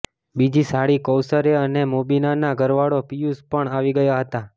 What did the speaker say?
બીજી સાળી કોૈશર અને મોબીનાનો ઘરવાળો પિયુષ પણ આવી ગયા હતાં